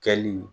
Kɛli